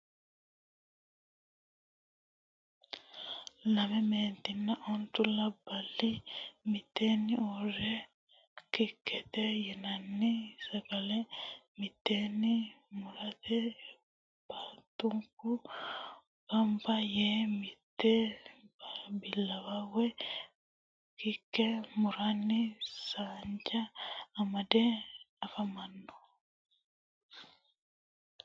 lamme meentinna ontu labali miteenni uure kekete yinanni sagalle miteenni murate baatunku ganba yee mitto bilawa woyi Keke muranni saanja amadde afamanno.